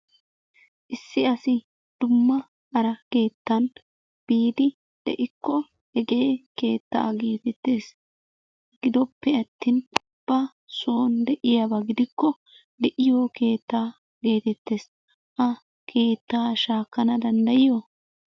Issi asi dumma hara keettan biidi de'ikko hegee keettaa geetettees. Gidoppe attin ba soon de'iyaba gidikko de'iyo keettaa geetettees. Ha keettaa shaakkana danddayiyo?